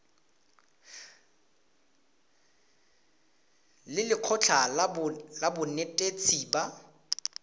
le lekgotlha la banetetshi ba